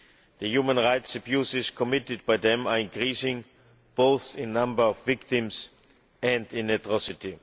The human rights abuses committed by them are increasing both in the number of victims and in atrocity.